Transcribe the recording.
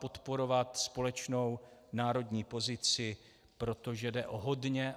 Podporovat společnou národní pozici, protože jde o hodně.